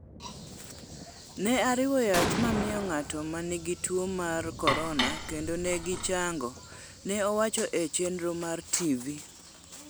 Ne ariwo yath mamiyo ng'ato manigi tuo mar korona kendo ne gichango, ne owacho e chenro mar TV.